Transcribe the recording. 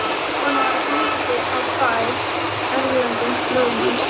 Konan var fangi á bæ Erlends lögmanns.